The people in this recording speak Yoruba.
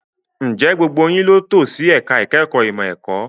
Ǹjẹ́ gbogbo yín ló tò sí ẹ̀ka ìkẹ́kọ̀ọ́ ìmọ̀ ẹ̀kọ́?